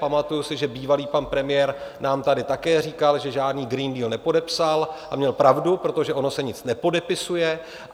Pamatuji si, že bývalý pan premiér nám tady také říkal, že žádný Green Deal nepodepsal, a měl pravdu, protože ono se nic nepodepisuje.